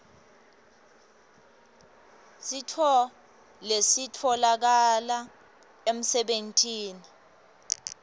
sifo lesitfolakale emsebentini